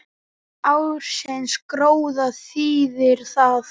Ársins gróða þýðir það